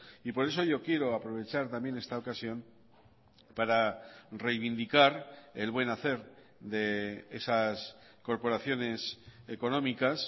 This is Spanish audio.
y por eso yo quiero aprovechar también esta ocasión para reivindicar el buen hacer de esas corporaciones económicas